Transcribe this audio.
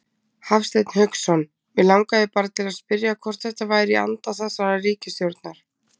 Hafsteinn Hauksson: Mig langaði bara til að spyrja hvort þetta væri í anda þessarar ríkisstjórnar?